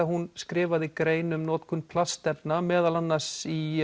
hún skrifaði grein um notkun plastefna meðal annars í